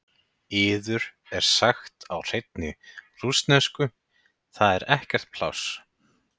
Yður er sagt á hreinni rússnesku: Það er ekkert pláss.